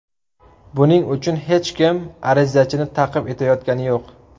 Buning uchun hech kim arizachini ta’qib etayotgani yo‘q.